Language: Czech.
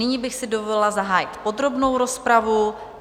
Nyní bych si dovolila zahájit podrobnou rozpravu.